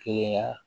Kelenya